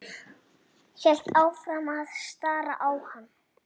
Hélt áfram að stara á hann.